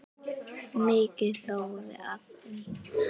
Mikið hlógum við að því.